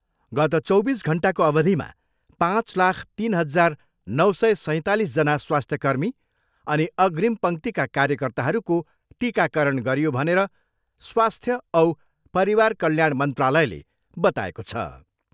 गत चौबिस घन्टाको अवधिमा पाँच लाख तिन हजार नौ सय सैँतालिसजना स्वास्थ्यकर्मी अनि अग्रिम पङ्क्तिका कार्यकर्ताहरूको टिकाकरण गरियो भनेर स्वस्थ्य औ परिवार कल्याण मन्त्रालयले बताएको छ।